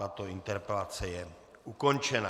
Tato interpelace je ukončena.